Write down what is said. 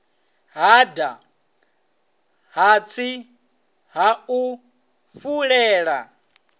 hada hatsi ha u fulela